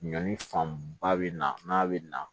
Ɲɔni fanba bɛ na n'a bɛ na